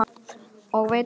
Og veit ekki enn!